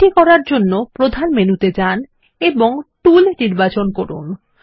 এটি করার জন্য প্রধান মেনুতে যান এবং টুল নির্বাচন করুন